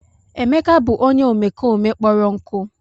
Emeka bụ onye omekome kpọrọ nkụ.